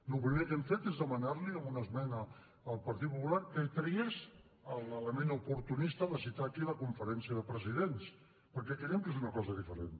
el primer que hem fet és demanar li amb una esmena al partit popular que tragués l’element oportunista de citar aquí la conferència de presidents perquè creiem que és una cosa diferent